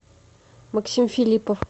максим филиппов